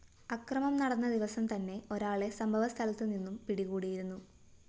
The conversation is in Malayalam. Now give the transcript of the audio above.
അക്രമം നടന്ന ദിവസം തന്നെ ഒരാളെ സംഭവസ്ഥലത്തു നിന്നും പിടികൂടിയിരുന്നു